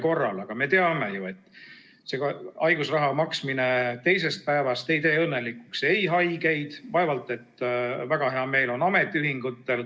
Kuid me teame ju, et haigusraha maksmine alates teisest päevast ei tee õnnelikuks ei haigeid ja vaevalt et ametiühingutelgi väga hea meel on.